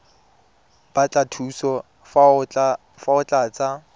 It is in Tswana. batla thuso fa o tlatsa